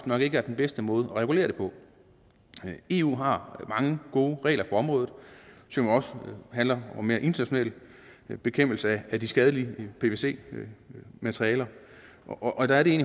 nok ikke er den bedste måde at regulere det på eu har mange gode regler på området som også handler om mere international bekæmpelse af de skadelige pvc materialer og der er det